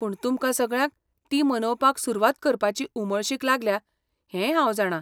पूण तुमकां सगळ्यांक ती मनोवपाक सुरूवात करपाची उमळशीक लागल्या हेंय हांव जाणां.